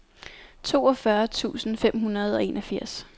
toogfyrre tusind fem hundrede og enogfirs